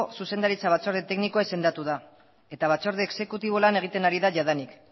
zuzendaritza batzorde teknikoa izendatu da eta batzorde exekutibo lan egiten ari da jadanik